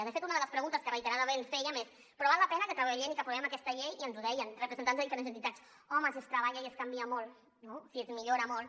de fet una de les preguntes que reiteradament fèiem és però val la pena que treballem i que aprovem aquesta llei i ens ho deien representants de diferents entitats home si es treballa i es canvia molt si es millora molt